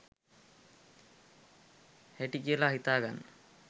හැටි කියලා හිතාගන්න